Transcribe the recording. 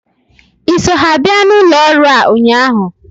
Ị so ha bịa n'ụlọ ọrụ a ụnyaahụ?